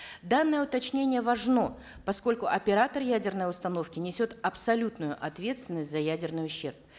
данное уточнение важно поскольку оператор ядерной установки несет абсолютную ответственность за ядерный ущерб